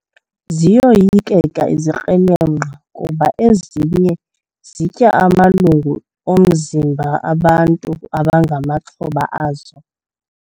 Ziyoyikeka izikrelemnqa kuba ezinye zitya amalungu omzimba bantu abangamaxhoba azo.